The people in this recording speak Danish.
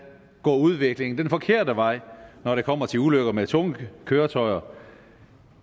går udviklingen den forkerte vej når det kommer til ulykker med tunge køretøjer